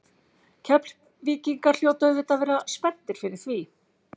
Keflvíkingar hljóta auðvitað að vera spenntir fyrir því?